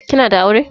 Kina da aure?